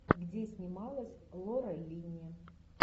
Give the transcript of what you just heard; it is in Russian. где снималась лора линни